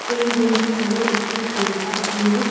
এই রুমটি হলো একটি ডেন্টাল ক্লিনিক ।